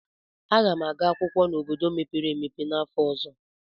Aga m aga akwụkwọ n'obodo mepere emepe n'afọ ọzọ.